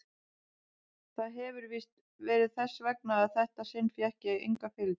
Það hefir víst verið þess vegna að þetta sinn fékk ég enga fylgd.